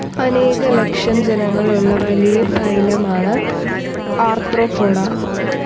അനേക ലക്ഷം ഇനങ്ങളുള്ള വലിയ ഫൈലമാണ് ആർത്രോപോഡാ.